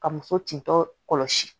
Ka muso tintɔ kɔlɔsi